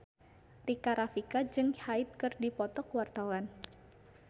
Rika Rafika jeung Hyde keur dipoto ku wartawan